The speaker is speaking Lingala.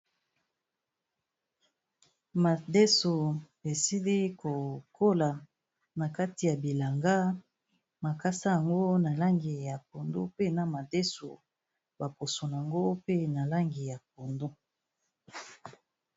Madeso esili kokola na kati ya bilanga, makasa yango na langi ya pondu pe na madeso ba poso nango pe na langi ya pondu.